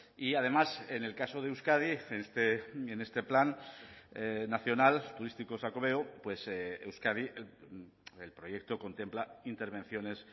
y además en el caso de euskadi en este plan nacional turístico xacobeo euskadi el proyecto contempla intervenciones